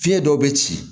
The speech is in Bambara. Fiɲɛ dɔw bɛ ci